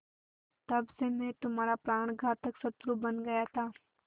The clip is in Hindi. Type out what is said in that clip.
तब से मैं तुम्हारा प्राणघातक शत्रु बन गया था